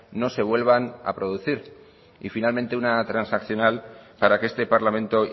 no se vuelvan a producir y finalmente una transaccional para que este parlamento